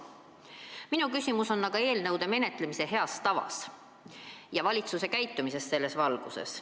Minu küsimus peab aga silmas eelnõude menetlemise head tava ja valitsuse käitumist selles valguses.